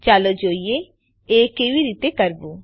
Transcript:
ચાલો જોઈએ એ કેવી રીતે કરવું